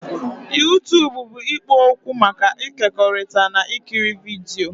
YouTubụ bụ ikpo okwu maka ịkekọrịta na ikiri vidio.